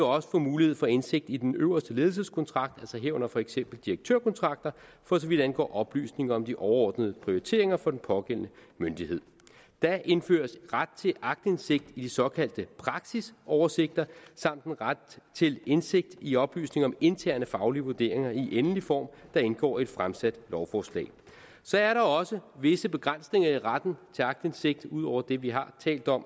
også få mulighed for indsigt i den øverste ledelseskontrakt altså herunder for eksempel direktørkontrakter for så vidt angår oplysninger om de overordnede prioriteringer for den pågældende myndighed der indføres ret til aktindsigt i de såkaldte praksisoversigter samt en ret til indsigt i oplysninger om interne faglige vurderinger i endelig form der indgår i et fremsat lovforslag så er der også visse begrænsninger i retten til aktindsigt ud over det vi har talt om